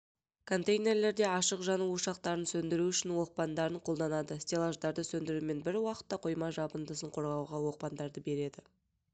контейнерлерде ашық жану ошақтарын сөндіру үшін оқпандарын қолданады стеллаждарды сөндірумен бір уақытта қойма жабындысын қорғауға оқпандарды береді